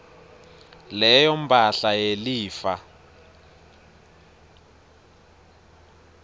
leyo mphahla yelifa